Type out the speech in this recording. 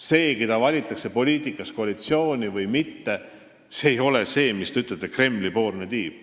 Selle tõttu, keda valitakse poliitikas koalitsiooni või mitte, ei pea rääkima sellest, mis te ütlesite, et Kremli-poolne tiim.